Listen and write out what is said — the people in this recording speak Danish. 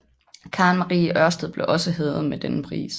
Karen Marie Ørsted blev også hædret med denne pris